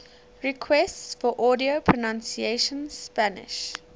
requests for audio pronunciation spanish